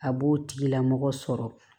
A b'o tigilamɔgɔ sɔrɔ